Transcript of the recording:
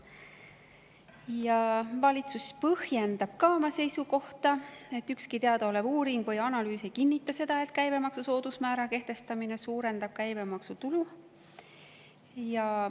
Ja valitsus põhjendab ka oma seisukohta: ükski teadaolev uuring või analüüs ei kinnita seda, et käibemaksu soodusmäära kehtestamine suurendab käibemaksutulu.